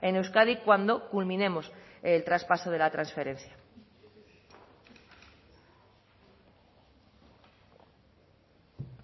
en euskadi cuando culminemos el traspaso de la transferencia